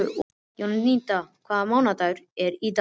Jónída, hvaða mánaðardagur er í dag?